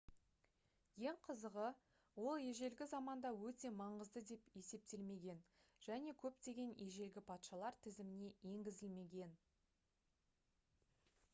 ең қызығы ол ежелгі заманда өте маңызды деп есептелмеген және көптеген ежелгі патшалар тізіміне енгізілмеген